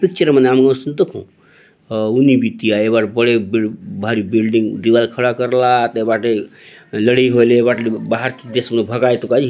पिक्चर मन ने आम उसनी दखु हव हुनि बीती आय ये बाट बड़े भारी बीती बिल्डिंग दीवाल खड़ा करला आत ये बाटे लड़इ होलो ने बहार चो देश ने भगायतू काई।